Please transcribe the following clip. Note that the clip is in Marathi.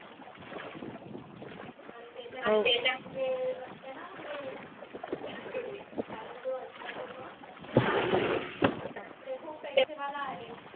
म्हनजे असते ना म्हनजे त्यांचा जो husband होतो ना त्यानं त्यानं ते खूप पैसे वाला आहेत